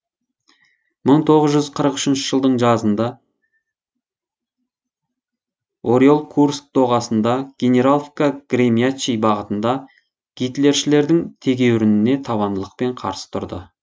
мың тоғыз жүз қырық үшінші жылдың жазында орел курск доғасында генераловка гремячий бағытында гитлершілердің тегеурініне табандылықпен қарсы тұрды